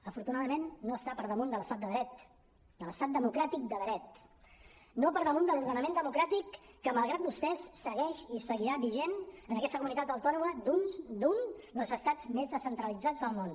afortunadament no està per damunt de l’estat de dret de l’estat democràtic de dret no per damunt de l’ordenament democràtic que malgrat vostès segueix i seguirà vigent en aquesta comunitat autònoma d’un dels estats més descentralitzats del món